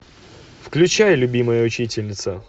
включай любимая учительница